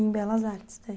Em Belas Artes, daí?